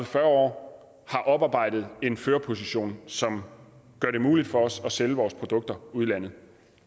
fyrre år har oparbejdet en førerposition som gør det muligt for os at sælge vores produkter udlandet